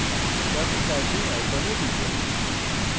tux typing icon টিপুন